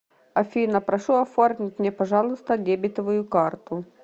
афина прошу оформить мне пожалуйста дебетовую карту